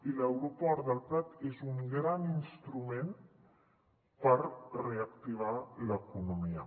i l’aeroport del prat és un gran instrument per re·activar l’economia